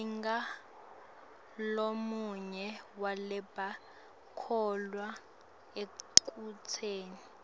ngingulomunye walabakholwelwa ekutseni